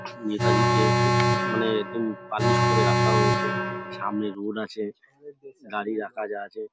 নেতাজি -কে খুব মানে একদম পালিশ করে রাখা হয়েছে। সামনে রোড আছে গাড়ি রাখা যা আছে ।